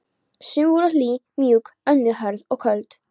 Sum voru hlý og mjúk, önnur hörð og köld.